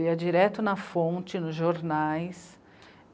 Eu ia direto na fonte, nos jornais.